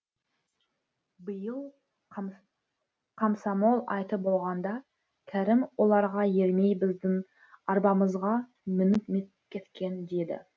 биыл қамсамол айты болғанда кәрім оларға ермей біздің арбамызға мініп кеткен деді